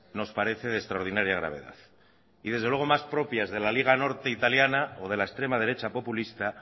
nos parece de extraordinaria gravedad y desde luego más propias de la liga norte italiana o de la extrema derecha populista